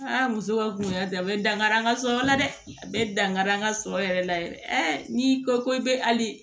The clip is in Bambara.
muso ka kungolo ta bɛ dankari an ka sɔrɔ la dɛ a bɛ dankari an ka sɔrɔ yɛrɛ la yɛrɛ n'i ko ko i bɛ ali